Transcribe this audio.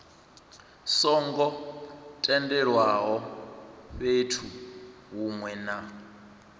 songo tendelwaho fhethu hunwe na